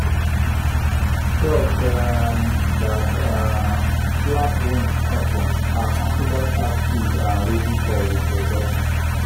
ducks um that um flap wings of ten are considered active and ready for reproduction.